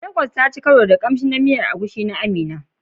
Lagos taci karo da shirin kamshi na miyar Egusi ta Amina.